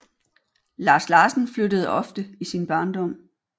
Lars Larsen flyttede ofte i sin barndom